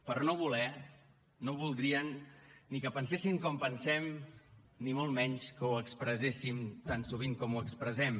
per no voler no voldrien ni que penséssim com pensem ni molt menys que ho expresséssim tan sovint com ho expressem